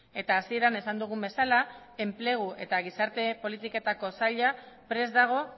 eta hasieran esan dugun bezala enplegu eta gizarte politiketako saila prest dago